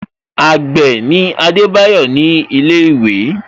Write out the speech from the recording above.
Agbe ni Adebayo ni ile iwe